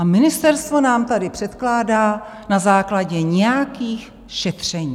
A ministerstvo nám tady předkládá na základě nějakých šetření.